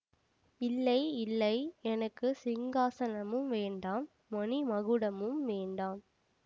இல்லை இல்லை எனக்கு சிங்காசனமும் வேண்டாம் மணி மகுடமும் வேண்டாம்